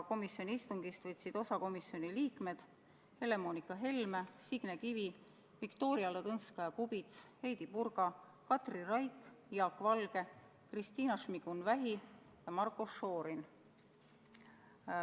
Komisjoni istungist võtsid osa ka komisjoni liikmed Helle-Moonika Helme, Signe Kivi, Viktoria Ladõnskaja-Kubits, Heidy Purga, Katri Raik, Jaak Valge, Kristina Šmigun-Vähi ja Marko Šorin.